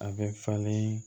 A bɛ falen